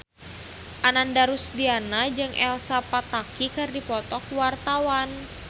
Ananda Rusdiana jeung Elsa Pataky keur dipoto ku wartawan